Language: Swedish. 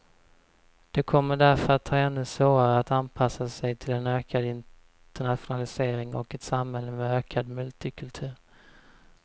De kommer därför att ha ännu svårare att anpassa sig till en ökad internationalisering och ett samhälle med ökad multikultur.